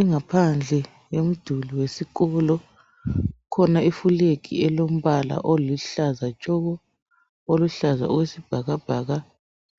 Ingaphandle yomduli wesikolo kukhona ifulegi elombala oluhlaza tshoko, oluhlaza okwesibhakabhaka